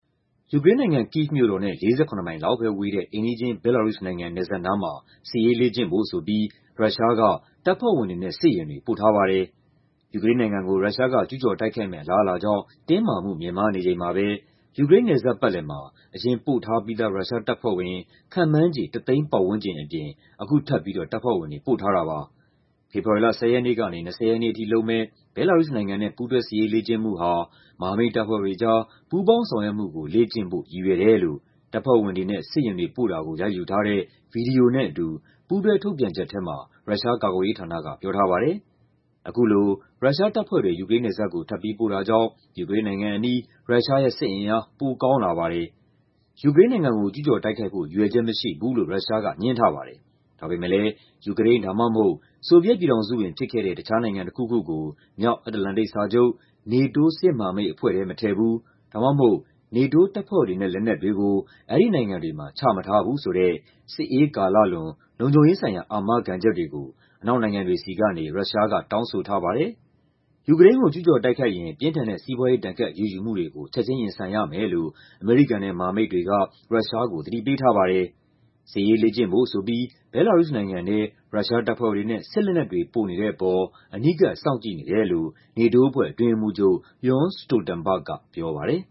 ယူကရိန်းနိုင်ငံ၊ Kyiv မြို့တော်နဲ့ ၄၇ မိုင်လောက်ပဲဝေးတဲ့ အိမ်နီးချင်း ဘဲလာရုစ်နိုင်ငံ နယ်စပ်နားမှာ စစ်ရေးလေ့ကျင့်ဖို့ဆိုပြီး ရုရှားက တပ်ဖွဲ့ဝင်တွေနဲ့ စစ်ယာဉ်တွေ ပို့ထားပါတယ်။ ယူကရိန်းနိုင်ငံကို ရုရှားက ကျူးကျော်တိုက်ခိုက်မယ့် အလားအလာကြောင့် တင်းမာမှု မြင့်မားနေချိန်မှာပဲ ယူကရိန်းနယ်စပ်ပတ်လည်မှာ အရင်ပို့ထားပြီးသား ရုရှားတပ်ဖွဲ့ဝင် ခန့်မှန်းခြေ ၁ သိန်းပတ်ဝန်းကျင်အပြင် အခုထပ်ပြီး တပ်ဖွဲ့ဝင်တွေ ပို့ထားတာပါ။ ဖေဖော်ဝါရီ ၁၀ ရက်နေ့ကနေ ၂၀ ရက်နေ့အထိလုပ်မယ့် ဘဲလာရုစ်နိုင်ငံနဲ့ ပူးတွဲစစ်ရေးလေ့ကျင့်မှုဟာ "မဟာမိတ်တပ်ဖွဲ့တွေကြား ပူးပေါင်းဆောင်ရွက်မှု လေ့ကျင့်ဖို့" ရည်ရွယ်တယ်လို့ တပ်ဖွဲ့ဝင်တွေနဲ့ စစ်ယာဉ်တွေ ပို့တာကို ရိုက်ယူထားတဲ့ ဗွီဒီယိုနဲ့အတူ ပူးတွဲထုတ်ပြန်ချက်ထဲမှာ ရုရှားကာကွယ်ရေးဌာနက ပြောထားပါတယ်။ အခုလို ရုရှားတပ်ဖွဲ့တွေ ယူကရိန်းနယ်စပ်ကို ထပ်ပြီးပို့တာကြောင့် ယူကရိန်းနိုင်ငံအနီး ရုရှားရဲ့ စစ်အင်အား ပိုအားကောင်းလာပါတယ်။ ယူကရိန်းနိုင်ငံကို ကျူးကျော်တိုက်ခိုက်ဖို့ ရည်ရွယ်ချက်မရှိဘူးလို့ ရုရှားက ငြင်းထားပါတယ်။ ဒါပေမယ့်လည်း ယူကရိန်း ဒါမှမဟုတ် ဆိုဗီယက်ပြည်ထောင်စုဝင်ဖြစ်ခဲ့တဲ့ တခြားနိုင်ငံတခုခုကို မြောက်အတ္တလန္တိတ်စာချုပ် NATO စစ်မဟာမိတ်အဖွဲ့ထဲ မထည့်ဘူး ဒါမှမဟုတ် NATO တပ်ဖွဲ့တွေနဲ့ လက်နက်တွေကို အဲဒီနိုင်ငံတွေမှာ ချမထားဘူးဆိုတဲ့ စစ်အေးကာလလွန် လုံခြုံရေးဆိုင်ရာ အာမခံချက်တွေကို အနောက်နိုင်ငံတွေဆီကနေ ရုရှားက တောင်းဆိုထားပါတယ်။ ယူကရိန်းကို ကျူးကျော်တိုက်ခိုက်ရင် ပြင်းထန်တဲ့ စီးပွားရေး ဒဏ်ခတ်အရေးယူမှုတွေကို ချက်ချင်းရင်ဆိုင်ရမယ်လို့ အမေရိကန်နဲ့ မဟာမိတ်တွေက ရုရှားကို သတိပေးထားပါတယ်။ စစ်ရေးလေ့ကျင့်ဖို့ဆိုပြီး ဘဲလာရုစ်နိုင်ငံထဲ ရုရှားတပ်ဖွဲ့တွေနဲ့ စစ်လက်နက်တွေ ပို့နေတဲ့အပေါ် အနီးကပ် စောင့်ကြည့်နေတယ်လို့ NATO အဖွဲ့ အတွင်းရေးမှူးချုပ် Jens Stoltenberg က ပြောပါတယ်